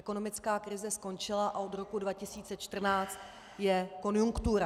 Ekonomická krize skončila a od roku 2014 je konjunktura.